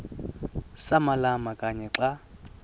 samalama kanye xa